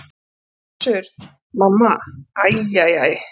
Össur-Mamma: Æ æ æ.